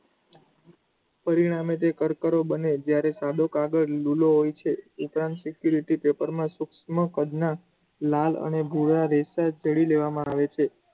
પરિણામે તે કરકરો બને છે જ્યારે સાદો કાગળ લૂલો હોય છે. security paper માં કદના લાલ અને ભૂરા રેશા તેડી લેવામાં આવે છે.